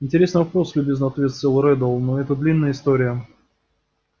интересный вопрос любезно ответил реддл но это длинная история